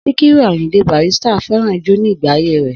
Síkírù Àyìndé Barrister fẹ́ràn ijó ní ìgbà ayé rẹ̀